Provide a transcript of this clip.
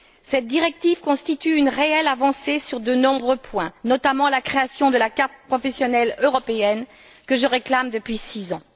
Cette directive constitue une réelle avancée sur de nombreux points, notamment la création de la carte professionnelle européenne, que je réclame depuis six ans.